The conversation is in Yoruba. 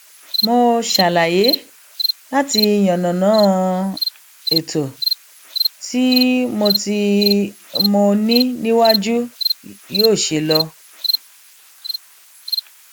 mo ṣàlàyé láti yànnàná ètò tí mo tí mo ní níwájú yóò ṣe lọ